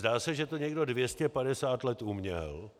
Zdá se, že to někdo 250 let uměl